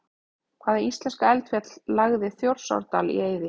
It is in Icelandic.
Hvaða íslenska eldfjall lagði Þjórsárdal í eyði?